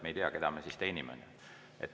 Me ei tea, keda me siis teenime.